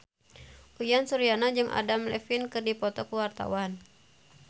Uyan Suryana jeung Adam Levine keur dipoto ku wartawan